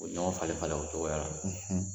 Ubi ɲɔgɔn falen falen o cogoya la